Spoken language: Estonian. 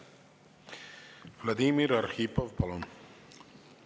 Vladimir Arhipov, palun!